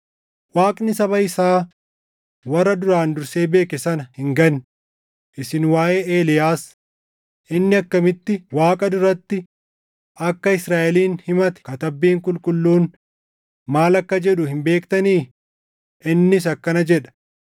Waaqni saba isaa warra duraan dursee beeke sana hin ganne; isin waaʼee Eeliyaas, inni akkamitti Waaqa duratti akka Israaʼelin himate Katabbiin Qulqulluun maal akka jedhu hin beektanii? Innis akkana jedha: